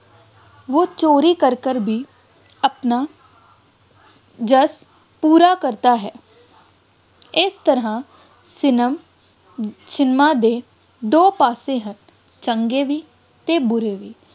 ਵੋਹ ਚੋਰੀ ਕਰ ਕਰ ਵੀ ਆਪਣਾ ਜੱਸ ਪੂਰਾ ਕਰਤਾ ਹੈ, ਇਸ ਤਰ੍ਹਾਂ ਫਿਲਮ ਸਿਨੇਮਾ ਦੇ ਦੋ ਪਾਸੇ ਹਨ, ਚੰਗੇ ਵੀ ਅਤੇ ਬੁਰੇ ਵੀ,